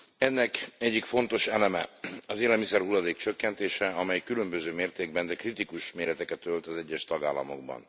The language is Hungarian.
Ennek egyik fontos eleme az élelmiszerhulladék csökkentése, amely különböző mértékben, de kritikus méreteket ölt az egyes tagállamokban.